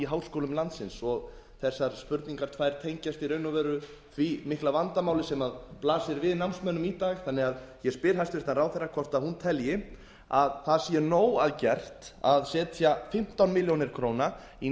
háskólum landsins og þessar spurningar tvær tengjast í raun og veru því mikla vandamáli sem blasir við námsmönnum í dag þannig að ég spyr hæstvirtur ráðherra hvort hún telji að það sé nóg að gert að setja fimmtán milljónir króna í